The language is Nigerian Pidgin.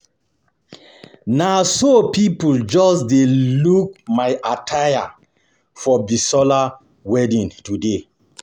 Na so people just dey look my attire for Bisola wedding today